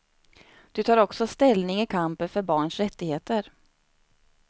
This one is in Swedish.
Du tar också ställning i kampen för barns rättigheter.